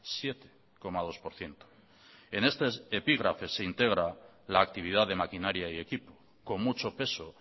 siete coma dos por ciento en este epígrafe se integra la actividad de maquinaria y equipo con mucho peso